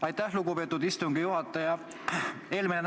Aitäh, lugupeetud istungi juhataja!